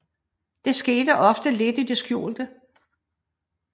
Det sker ofte lidt i det skjulte